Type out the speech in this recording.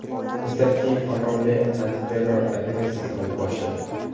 Misr keng qamrovli antiterror operatsiyasini boshladi.